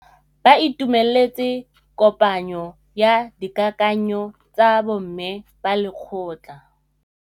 Ba itumeletse kôpanyo ya dikakanyô tsa bo mme ba lekgotla.